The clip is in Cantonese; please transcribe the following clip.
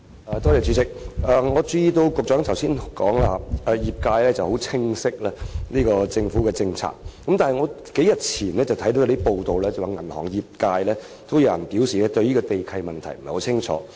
我注意到局長剛才說，業界十分清晰政府的政策，但我在數天前卻看到報道，指有銀行業界人士表示對地契問題不太清楚。